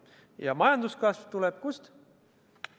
Ja majanduskasv tuleb kust?